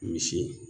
Misi